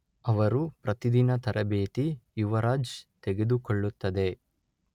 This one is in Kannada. ಅವರು ಪ್ರತಿದಿನ ತರಬೇತಿ ಯುವರಾಜ್ ತೆಗೆದುಕೊಳ್ಳುತ್ತದೆ.